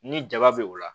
Ni jaba be o la